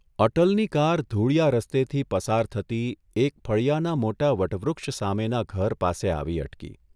અટલની car ધૂળીયા રસ્તેથી પસાર થતી એક ફળિયાના મોટા વટવૃક્ષ સામેના ઘર પાસે આવી અટકી.